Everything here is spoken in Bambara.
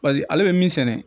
Paseke ale bɛ min sɛnɛ